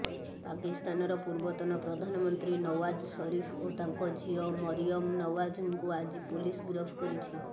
ପାକିସ୍ତାନର ପୂର୍ବତନ ପ୍ରଧାନମନ୍ତ୍ରୀ ନୱାଜ ସରିଫ ଓ ତାଙ୍କ ଝିଅ ମରିୟମ ନୱାଜଙ୍କୁ ଆଜି ପୋଲିସ ଗିରଫ କରିଛି